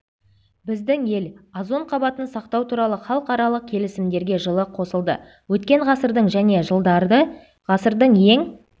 біздің ел озон қабатын сақтау туралы халықаралық келісімдерге жылы қосылды өткен ғасырдың және жылдары ғасырдың ең